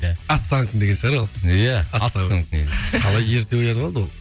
ассамекум деген шығар ол иә ассамекум қалай ерте оянып алды ол